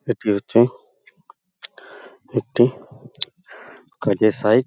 এটি হচ্ছে একটি কাজের সাইড ।